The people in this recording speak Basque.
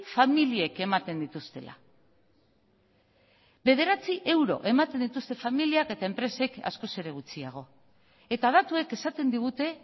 familiek ematen dituztela bederatzi euro ematen dituzte familiak eta enpresek askoz ere gutxiago eta datuek esaten digute